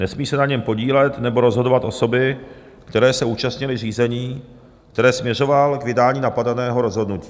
Nesmí se na něm podílet nebo rozhodovat osoby, které se účastnily řízení, které směřovalo k vydání napadeného rozhodnutí.